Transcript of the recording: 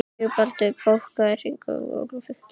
Sigurbaldur, bókaðu hring í golf á fimmtudaginn.